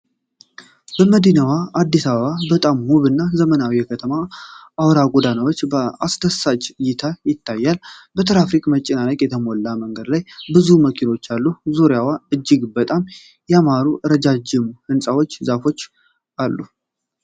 የመዲናዋ አዲስ አበባ በጣም ውብና ዘመናዊ የከተማ አውራ ጎዳና በአስደሳች እይታ ይታያል። በትራፊክ መጨናነቅ የተሞላው መንገድ ላይ ብዙ መኪኖች አሉ። ዙሪያው እጅግ በጣም ያማሩ ረዣዥም ሕንፃዎችና ዛፎች አሉት።